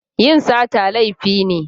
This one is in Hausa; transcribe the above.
Yin sata laifi ne.